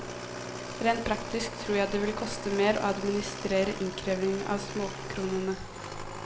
Rent praktisk tror jeg det vil koste mer å administrere innkrevingen av småkronene.